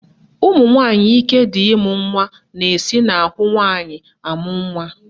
Ụmụnwanyị ike dị ịmụ nwa na-esi n'ahụ nwaanyị amụ nwa